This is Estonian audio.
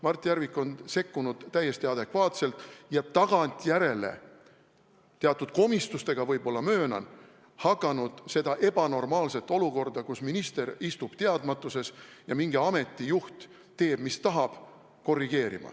Mart Järvik on sekkunud täiesti adekvaatselt ja tagantjärele, teatud komistustega võib-olla, ma möönan, hakanud korrigeerima seda ebanormaalset olukorda, kus minister istub teadmatuses ja mingi ameti juht teeb, mis tahab.